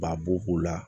Ba bo k'u la